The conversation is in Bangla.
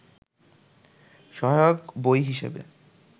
সহায়ক বই হিসেবে